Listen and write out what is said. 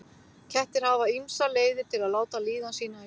kettir hafa ýmsar leiðir til að láta líðan sína í ljós